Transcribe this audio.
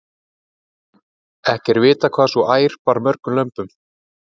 ekki er vitað hvað sú ær bar mörgum lömbum